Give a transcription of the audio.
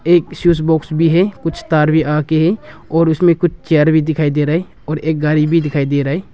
एक switch box भी है कुछ तार भी आके है और उसमें कुछ चेयर दिखाई दे रहा है और एक गाड़ी भी दिखाई दे रहा है।